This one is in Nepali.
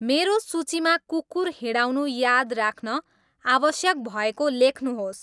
मेरो सूचीमा कुकुर हिँडाउनु याद राख्न आवश्यक भएको लेख्नुहोस्